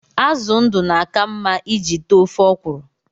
Azụ ndụ na-aka mma iji tee ofe ọkwụrụ